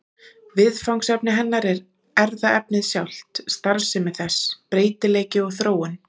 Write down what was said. Viðfangsefni hennar er erfðaefnið sjálft, starfsemi þess, breytileiki og þróun.